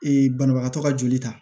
banabagatɔ ka joli ta